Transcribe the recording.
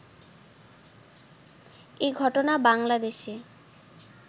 এ ঘটনা বাংলাদেশে